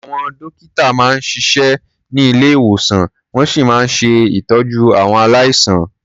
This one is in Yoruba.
Àwọn dọ́kítà máa ń siṣẹ́ ní ilé-ìwòsàn, wọ́n sì máa ń ṣe ìtọ́jú àwọn aláìsàn.